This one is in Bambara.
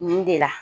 Nin de la